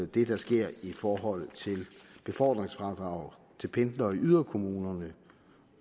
det der sker i forhold til befordringsfradrag til pendlere i yderkommunerne